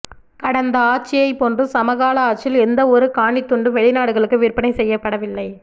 கடந்த ஆட்சியைப் போன்று சமகால ஆட்சியில் எந்தவொரு காணித்துண்டும் வெளிநாடுகளுக்கு விற்பனை செய்யப்படவில்லை